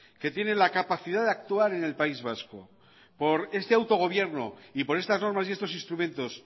que tiene la capacidad de actuar en el país vasco por este autogobierno y por estas normas y estos instrumentos